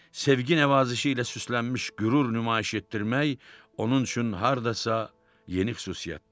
Sevgi nəvazişi ilə süslənmiş qürur nümayiş etdirmək onun üçün hardasa yeni xüsusiyyət idi.